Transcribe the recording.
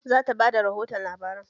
Za ta ba da rihoto labaran